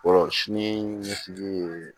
sini ɲɛsigi ye